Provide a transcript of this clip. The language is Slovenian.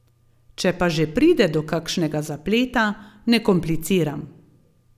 Če pa že pride do kakšnega zapleta, ne kompliciram.